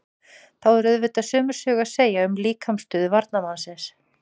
Þá er auðvitað sömu sögu að segja um líkamsstöðu varnarmannsins.